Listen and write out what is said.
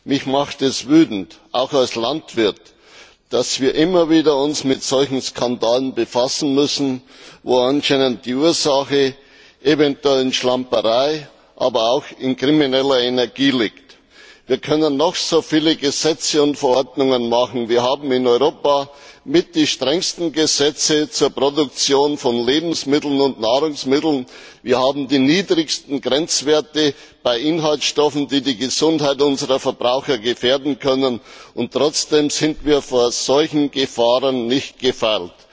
Mich macht es wütend, auch als Landwirt, dass wir uns immer wieder mit solchen Skandalen befassen müssen, bei denen die Ursache anscheinend in Schlamperei, aber auch in krimineller Energie liegt. Wir können noch so viele Gesetze und Verordnungen auf den Weg bringen wir haben in Europa mit die strengsten Gesetze zur Produktion von Lebens und Nahrungsmitteln, wir haben die niedrigsten Grenzwerte bei Inhaltsstoffen, die die Gesundheit unserer Verbraucher gefährden könnten und trotzdem sind wir vor solchen Gefahren nicht gefeit.